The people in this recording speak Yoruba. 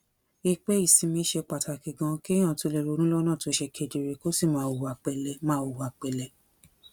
i pé ìsinmi ṣe pàtàkì ganan kéèyàn tó lè ronú lónà tó ṣe kedere kó sì máa hùwà pèlé máa hùwà pèlé